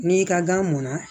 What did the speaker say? N'i ka gan mɔnna